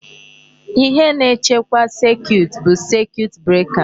Ihe na-echekwa circuit bụ circuit breaker.